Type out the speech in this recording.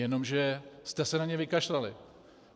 Jenomže jste se na ně vykašlali.